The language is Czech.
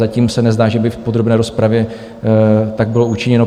Zatím se nezdá, že by v podrobné rozpravě tak bylo učiněno.